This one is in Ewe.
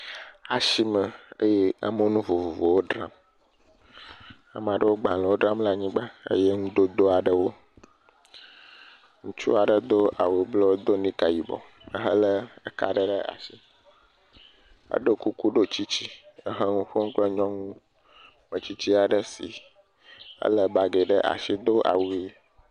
Asime eye amewo nu vovovowo dzram. Ame aɖewo agbalewo dzram le anyigba eye nudodo aɖewo. Ŋutsu aɖe do awu blu do nika yibɔ ehele eka aɖe ɖe asi. Eɖo kuku, ɖo tsitsi ehe le nu ƒom kple nyɔnu metsitsi aɖe si ele bagi ɖe asi do awu ʋi.